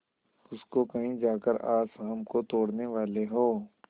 उसको कहीं जाकर आज शाम को तोड़ने वाले हों